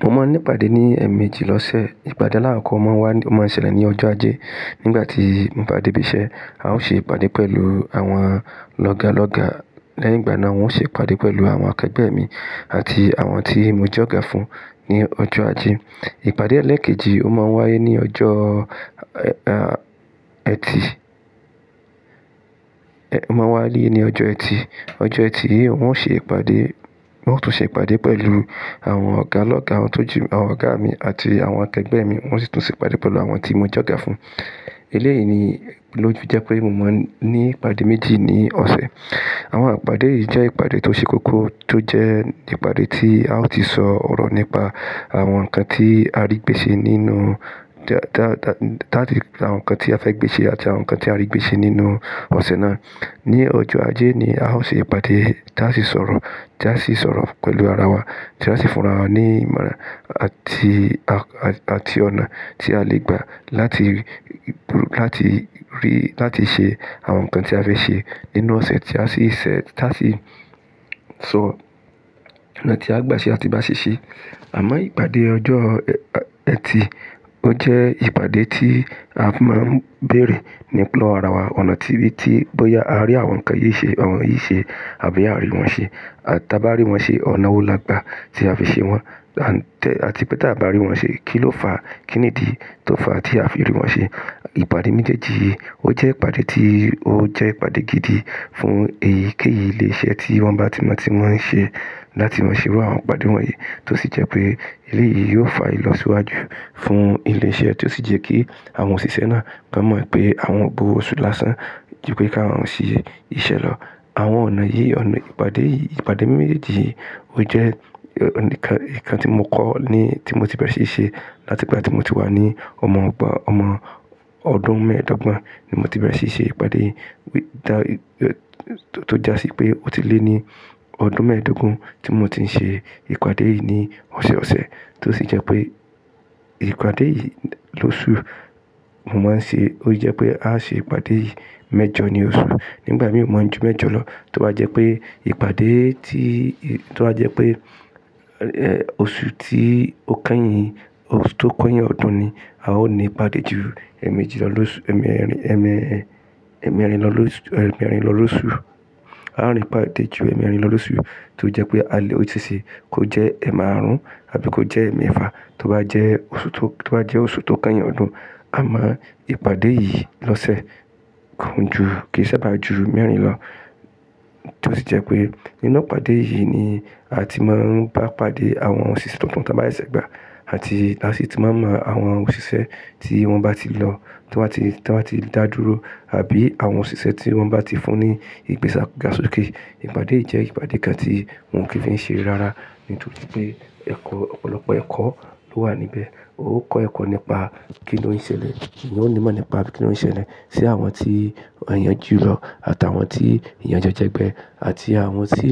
Mo máa ń ní ìpàdé ní ẹ̀ẹ̀mejì lọ́sẹ̀. Ìpàdé alákọ́kọ́ máa wá, máa ń ṣẹlẹ̀ ní ọjọ́ ajé. Nígbà tí mo bá dé ibi iṣẹ́, a ó ṣe ìpàdé pẹ̀lú àwọn lọ́ga lọ́ga. Lẹ́yìn gbà náà, wọn ó ṣe ìpàdé pẹ̀lú àwọn akẹgbẹ́ mi àti àwọn tí mo jọ́ga fún ní ọjọ́ ajé. Ìpàdé ẹlẹ́ẹ̀kejì ó máa ń wáyé ní ọjọ́, ah, Ẹtì, ẹ máa wáyé ní ọjọ́ Ẹtì. Ọjọ́ Ẹtì yìí n ó ó ṣe ìpàdé, wọn ó tún ṣe ìpàdé pẹ̀lú àwọn ọ̀gá lọ́gá, àwọn tó ju àwọn ọ̀gá mi àti àwọn akẹgbẹ́ mi, n ó sì tún ṣe ìpàdé pẹ̀lú àwọn tí mo jọ́ga fún. Eléyìí ni ló jẹ́ pé mo máa ń ní ìpàdé méjì ní ọ̀sẹ̀. Àwọn ìpàdé yìí jẹ́ ìpàdé tó ṣe kókó tó jẹ́ ìpàdé tí a ó ti sọ ọ̀rọ̀ nípa àwọn nǹkan tí a rí gbèsè nínú, dá, dá, dá, ti àwọn nǹkan tí a fẹ́ gbèsè àti àwọn nǹkan tí a rí gbèsè nínú ọ̀sẹ̀ náà. Ní ọjọ́ ajé ni a ó ṣe ìpàdé tí a sì sọ̀rọ̀, tí a sì sọ̀rọ̀ pẹ̀lú ara wa, tí a sì fúnra wọn ní ìmọ̀ràn àti, àti ọ̀nà tí a lè gbà láti, láti rí, láti ṣe àwọn nǹkan tí a fẹ́ ṣe nínú ọ̀sẹ̀ tí a sì ṣẹ, tí a sì sọ ọ̀nà tí a gbà ṣe àti bá ṣiṣẹ́. Àmọ́ ìpàdé ọjọ́,, Ẹtì ó jẹ́ ìpàdé tí a máa ń bèèrè l'ọ́wọ́ ara wa, ọ̀nà tí, bí tí bóyá a rí àwọn nǹkan yìí ṣe, àwọn yìí ṣe àbí àbí a ò rí wọn ṣe. Àti bá rí wọn ṣe, ọ̀nà wo la gbà tí a fi ṣe wọ́n? Àti pé tí a bà rí wọn ṣe, kín ló fa? Kí nìdí tó fa tí a fi rí wọn ṣe? Ìpàdé méjèèjì yìí ó jẹ́ ìpàdé tí ó jẹ́ ìpàdé gidi fún èyíkéèyí ìlé iṣẹ́ tí wọ́n bá ti mọ tí wọ́n ń ṣe láti wọ́n ṣe irú àwọn ìpàdé wọ̀nyí tó sì jẹ́ pé eléyìí yóò fa ìlọsíwájú fún ilé iṣẹ́ tí ó sì jẹ́ kí àwọn òṣìṣẹ́ náà mọ̀ pé àwọn ò gb'owó oṣù lásán ju pé kí àwọn ṣe iṣẹ́ lọ. Àwọn ọ̀nà yìí, ọ̀nà ìpàdé yìí, ìpàdé mẹ́jèèjì yìí ó jẹ́ ọ̀ǹkan tí mo kọ́ ni tí mo ti bẹ̀rẹ̀ síí ṣe láti ìgbà tí mo ti wá ní ọmọ ọgbọ̀n, ọmọ ọdún mẹ́ẹ̀dọ́gbọ̀n ni mo ti bẹ̀rẹ̀ síí ṣe ìpàdé yìí. Tó jásí pé ó ti lé ní ọdún mẹ́ẹ̀ẹ́dógún tí mo ti ń ṣe ìpàdé yìí ní ọ̀ṣẹ ọ̀ṣẹ tó sì jẹ́ pé ìpàdé yìí lósù, mo máa ń ṣe, ó jẹ́ pé a ṣe ìpàdé yìí mẹ́jọ ní oṣù. Nígbà mí ò mọ̀ ju mẹ́jọ lọ tó bá jẹ́ pé ìpàdé tí, tó bá jẹ́ pé, ẹ, oṣù tí ó kányìn, oṣù tó kányìn ọdún ni a ó ní ìpàdé ju ẹ̀ẹ̀mejì lọ lóṣù, ẹ̀ẹ̀mẹ́rin lọ lóṣù. A ó ní ìpàdé ju ẹ̀ẹ̀mẹ́rin lọ lóṣù tó jẹ́ pé a lè ó sì ṣe kó jẹ́ ẹ̀ẹ̀mẹ́àrún àbí kó jẹ́ ẹ̀ẹ̀mẹ́ẹ̀fà tó bá jẹ́ oṣù tó, tó bá jẹ́ oṣù tó kányìn ọdún. A mọ ìpàdé yìí lọ́sẹ̀ kò ń ju, kì í sá bà ju mẹ́rin lọ tó sì jẹ́ pé nínú ìpàdé yìí ni a ti máa ń bá pàdé àwọn òṣìṣẹ́ tuntun tí wọ́n bá yí ṣẹ̀gbà àti a sì ti máa mọ àwọn òṣìṣẹ́ tí wọ́n bá ti lọ, tí wọ́n bá ti, tí wọ́n bá ti dá dúró àbí àwọn òṣìṣẹ́ tí wọ́n bá ti fún ní ìgbéga sókè. Ìpàdé yìí jẹ́ ìpàdé kan tí mò ń kí ń fi ṣe rara nítorí pé ẹ̀kọ́ ọ̀pọ̀lọpọ̀ ẹ̀kọ́ ló wà níbẹ̀. Ó kọ́ ẹ̀kọ́ nípa kí ni ó ń ṣẹlẹ̀, ó ń ní mọ̀ nípa kí ni ó ń ṣẹlẹ̀ sí àwọn tí wọ́n yanjú lọ àti àwọn tí ìyanjẹ jẹ́gbẹ́ àti àwọn tí